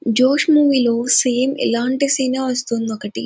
జోష్ మూవీ లో సేమ్ ఇలాంటి సీనే వస్తుంది ఒకటి --